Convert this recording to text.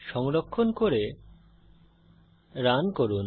সংরক্ষণ করে রান করুন